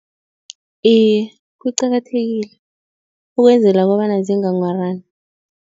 Iye, kuqakathekile ukwenzela kobana zinganghwarani.